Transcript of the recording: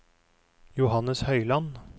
Johannes Høyland